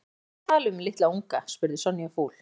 Hvað ertu að tala um litla unga? spurði Sonja fúl.